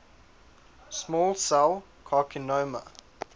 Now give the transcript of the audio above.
small cell carcinoma